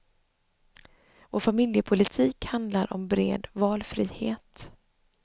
Vår familjepolitik handlar om bred valfrihet.